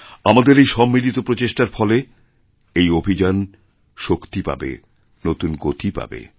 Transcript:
আমাদেরএই সম্মিলিত প্রচেষ্টার ফলে এই অভিযান শক্তি পাবে নতুন গতি পাবে